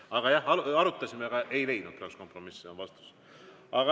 Aga jah, arutasime, aga ei leidnud kompromissi – see on vastus.